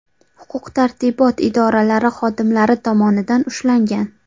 huquq-tartibot idoralari xodimlari tomonidan ushlangan.